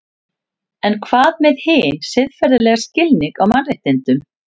En hvað með hinn siðferðilega skilning á mannréttindum?